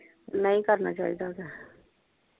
ਨਹੀ ਕਰਨਾ ਚਾਹੀਦਾ ਉਹ ਤੇ।